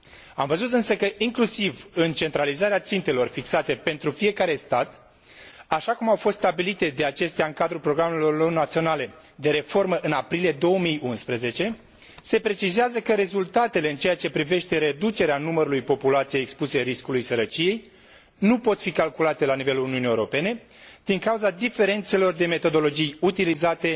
Am văzut însă că, inclusiv în centralizarea țintelor fixate pentru fiecare stat, așa cum au fost stabilite de acestea în cadrul programelor lor naționale de reformă în aprilie 2011, se precizează că rezultatele în ceea ce privește reducerea numărului populației expuse riscului sărăciei nu pot fi calculate la nivelul Uniunii Europene din cauza diferențelor de metodologii utilizate